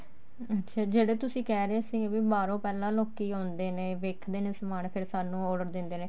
ਅੱਛਿਆ ਜਿਹੜਾ ਤੁਸੀਂ ਕਹਿ ਰਹੇ ਸੀ ਕੀ ਬਾਹਰੋਂ ਪਹਿਲਾਂ ਲੋਕੀ ਆਉਂਦੇ ਨੇ ਵੇਖਦੇ ਨੇ ਸਮਾਨ ਫ਼ੇਰ ਸਾਨੂੰ order ਦਿੰਦੇ ਨੇ